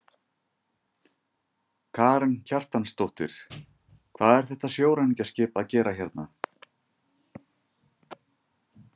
Karen Kjartansdóttir: Hvað er þetta sjóræningjaskip að gera hérna?